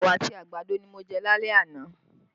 Ẹwà àti àgbàdo ni mo jẹ́ lálẹ́ àná